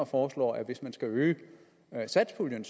foreslår at hvis man skal øge satspuljen